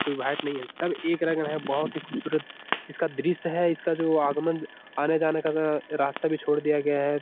कोई व्हाइट नहीं है। सब एक रंग है बहुत ही खूबसूरत इसका दृश्य है इसका जो आगमन आने-जाने का ज रास्ता भी छोड़ दिया गया है।